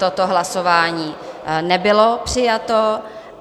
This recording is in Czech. Toto hlasování nebylo přijato.